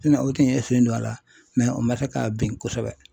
o tun ye sen don a la o ma se k'a bin kosɛbɛ.